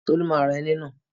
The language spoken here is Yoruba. Tolú má ra ẹní náà.